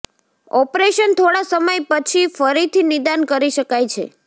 operation થોડા સમય પછી ફરીથી નિદાન કરી શકાય છે